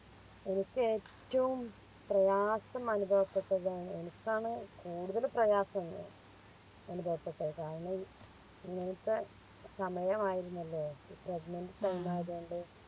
എനിക്ക് ഏറ്റോം പ്രയാസം അനുഭവപ്പെട്ടതാണ് എനക്കാണ് കൂടുതല് പ്രയാസം അനുഭവപ്പെട്ടത് കാരണം ഇങ്ങനത്തെ സമയരുന്നല്ലോ Pregnant time ആയത് കൊണ്ട്